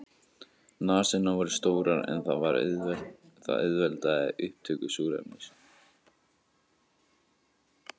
Nasirnar voru stórar en það auðveldar upptöku súrefnis.